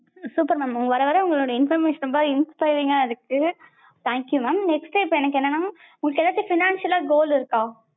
super mam வர வர உங்க information லா inspiring அ இருக்கு. Thank you mam next இப்ப எனக்கு எனென்னா உங்களுக்கு எதாச்சும் financial லா goal இருக்கா?